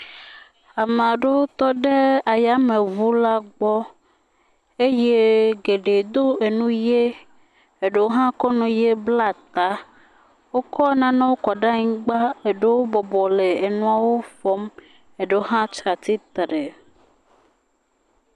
Ame aɖewo tɔ ɖe ayameŋu la gbɔ eye geɖe do enu ʋi eɖewo hã kɔ enu ʋi bla ta. Wokɔ nanewo kɔ ɖe anyigba, eɖewo bɔbɔ le enuawo fɔm, eɖewo hã tsi atsitre.